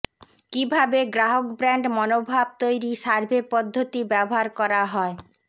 কিভাবে গ্রাহক ব্র্যান্ড মনোভাব তৈরি সার্ভে পদ্ধতি ব্যবহার করা হয়